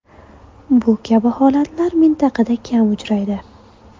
Bu kabi holatlar mintaqada kam uchraydi.